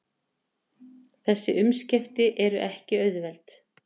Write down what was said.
Þessi umskipti eru ekki auðveld